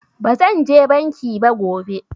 Ba zan je banki ba gobe